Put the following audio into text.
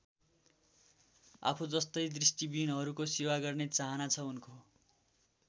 आफूजस्तै दृष्टिविहीनहरूको सेवा गर्ने चाहना छ उनको।